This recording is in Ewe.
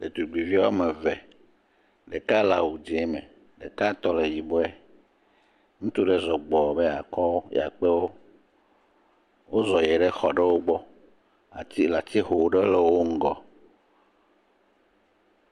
Ɖetugbivi woame ve. Ɖeka le awu dzẽ me. Ɖekatɔ le yibɔe. Ŋutsu ɖeka zɔ gbɔɔ be yeakɔ, yeakpewo. Wozɔ yie ɖe xɔ ɖewo gbɔ le ati atixe ɖe le wo ŋgɔ.